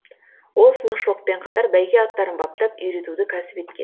ол сынықшылықпен қатар бәйге аттарын баптап үйретуді кәсіп етке